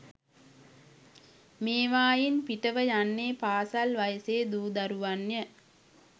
මේවායින් පිට ව යන්නේ පාසල් වයසේ දූ දරුවන් ය.